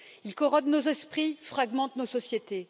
Ils corrodent nos esprits, fragmentent nos sociétés.